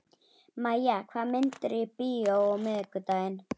Mæja, hvaða myndir eru í bíó á miðvikudaginn?